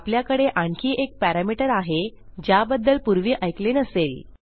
आपल्याकडे आणखी एक पॅरामीटर आहे ज्याबद्दल पूर्वी ऐकले नसेल